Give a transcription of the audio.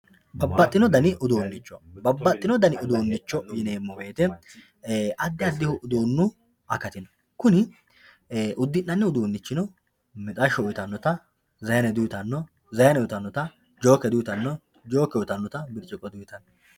Babaxino dani uduunicho, babaxino dani uduunicho yineemo woyiteno adi adihu uduunu akkati no kuni, udinani uduunicho, mixxasho uyitanotta zayine di, uyitanno, zaayine uyitanotta jooke di, uyitanno, jooke uyitanotta biricciqqo di, uyitanno